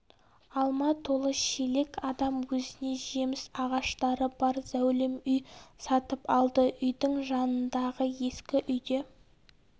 алма толы шелек адам өзіне жеміс ағаштары бар зәулім үй сатып алды үйдің жанындағы ескі үйде